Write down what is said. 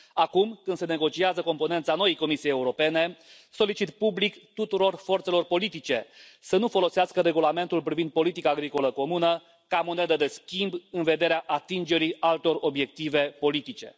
Acum, când se negociază componența noii Comisii Europene, solicit public tuturor forțelor politice să nu folosească Regulamentul privind politica agricolă comună ca monedă de schimb în vederea atingerii altor obiective politice.